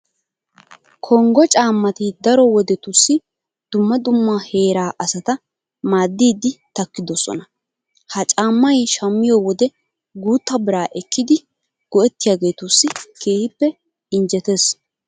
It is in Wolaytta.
Konggo caammati daro wodetussi dumma dumma heeraa asata maaddiiddi takkidosona. Ha caammay shammiyo wode guutta biraa ekkidi go"ettiyageetussi keehippe injjetees.